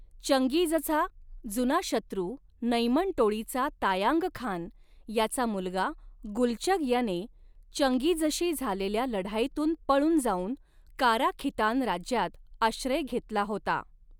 चंगीझचा जुना शत्रु नैमन टोळीचा तायांग खान याचा मुलगा गुलचग याने चंगीझशी झालेल्या लढाईतून पळून जाऊन कारा खितान राज्यात आश्रय घेतला होता.